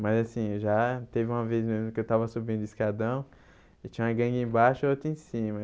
Mas assim, já teve uma vez mesmo que eu tava subindo o escadão e tinha uma gangue embaixo e outra em cima.